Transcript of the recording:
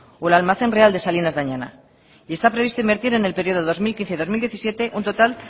o el almacén real de salinas de añana y está previsto invertir en el periodo dos mil quince dos mil diecisiete un total